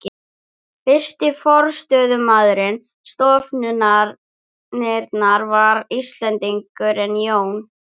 Fyrsti forstöðumaður stofnunarinnar var Íslendingurinn Jón